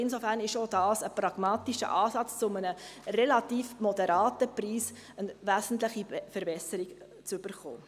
Insofern ist auch dies ein pragmatischer Ansatz, um eine wesentliche Verbesserung zu einem relativ moderaten Preis zu erhalten.